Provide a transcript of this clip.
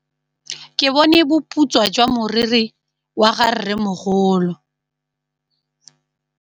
Ke bone boputswa jwa meriri ya rrêmogolo.